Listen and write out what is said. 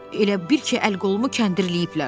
Elə bil ki, əl qolumu kəndirləyiblər.